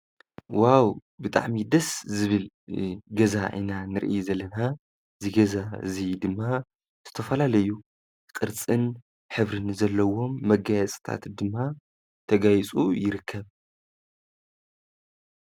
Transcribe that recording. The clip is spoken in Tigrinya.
ዋው ብጣዕሚ ደስ ዝብል እ ገዛ ኢና ንሪኢ ዘለና እዚ ገዛ እዙይ ድማ ዝተፈላለዩ ቅርፅን ሕብርን ዘለዎም መጋየፂታት ድማ ተጋይፁ ይርከብ፡፡